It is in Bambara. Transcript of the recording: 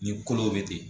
Ni kolo bɛ ten